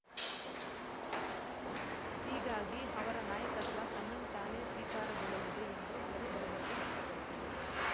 ಹೀಗಾಗಿ ಅವರ ನಾಯಕತ್ವ ತನ್ನಿಂತಾನೇ ಸ್ವೀಕಾರಗೊಳ್ಳಲಿದೆ ಎಂದು ಅವರು ಭರವಸೆ ವ್ಯಕ್ತಪಡಿಸಿದರು